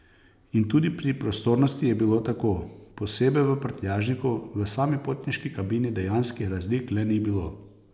In tudi pri prostornosti je bilo tako, posebej v prtljažniku, v sami potniški kabini dejanskih razlik le ni bilo.